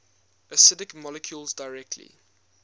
acidic molecules directly